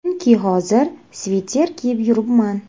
Chunki hozir sviter kiyib yuribman.